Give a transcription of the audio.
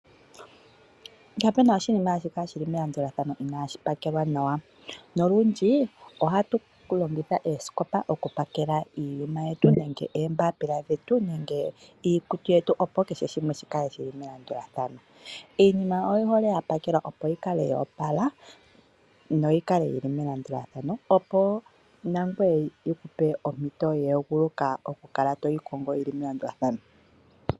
Kapena oshinima hashi kala shili melandulathano inaashu pakelwa nawa. Nolundji ohatu longitha eesikopa okupakela iinima yetu, nenge oombapila dhetu, nenge iikutu yetu opo kehe shimwe shikale shili melandulathano. Iinima oyihole yapakelwa opo yikale yoopala no yikale yili melandulathano, opo nangoye yi kupe ompito ya eguluka okukala toyi kongo yili melandulathano.